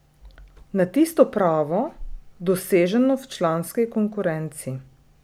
Na tisto pravo, doseženo v članski konkurenci.